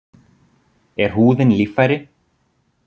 Er húðin líffæri?